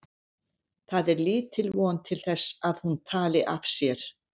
Það var lítil von til þess að hún talaði af sér.